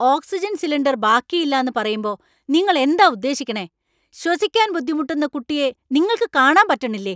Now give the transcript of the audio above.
Oxygen cylinder ബാക്കിയില്ലാന്നു പറയുമ്പോ നിങ്ങൾ എന്താ ഉദ്ദേശിക്കണേ ? ശ്വസിക്കാൻ ബുദ്ധിമുട്ടുന്ന കുട്ടിയെ നിങ്ങൾക്ക് കാണാൻ പറ്റണില്ലേ ?